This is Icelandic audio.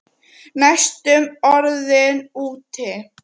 Næstum orðinn úti